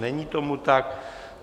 Není tomu tak.